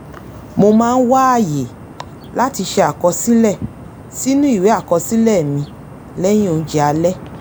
mo máa ń wá àyè láti ṣe àkọsílẹ̀ sínú ìwé àkosílẹ̀ mi lẹ́yìn oúnjẹ alẹ́